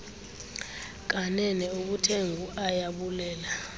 kanene ubuthe nguayabulela